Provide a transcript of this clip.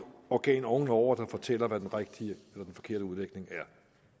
organ oven over der skal fortælle hvad den rigtige eller den forkerte udlægning er